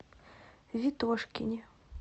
ветошкине